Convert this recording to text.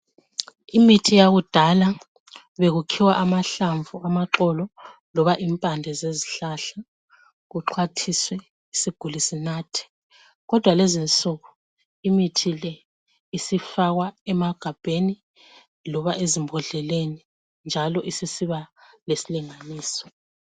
Imithi yakudala bekukhiwa amahlamvu amaxolo loba impande zezihlahla kuxwathiswe isiguli sinathe kodwa kulezinsuku imithi le isifakwa emagabheni loba ezimbondleleni njalo isisiba lesilinganiso